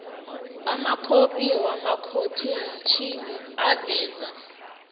amakhophi wamakhotheyitjhini aveza